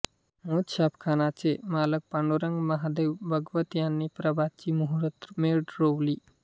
मोज छापखाना चे मालक पांडुरंग महादेव भगवत यांनी प्रभातची मुहूर्त मेढ रोवली